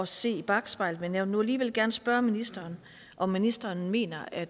se i bakspejlet men jeg vil nu alligevel gerne spørge ministeren om ministeren mener at